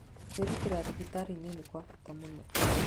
Kwĩrutĩra thibitarĩ-inĩ nĩ kwa bata mũno.